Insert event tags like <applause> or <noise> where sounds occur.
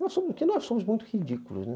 <unintelligible> ridículos, né?